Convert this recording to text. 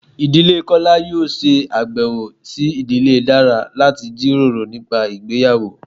Ìdílé kola yóò se abèwo si ìdílé dara lati jiroro nipa ìgbéyàwó